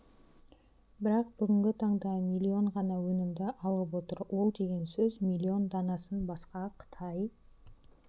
бірақ бүгінгі таңда миллион ғана өнімді алып отыр ол деген сөз миллион данасын басқа қытай